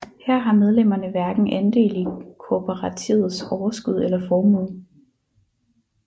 Her har medlemmerne hverken andel i kooperativets overskud eller formue